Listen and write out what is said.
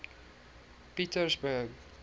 pietersburg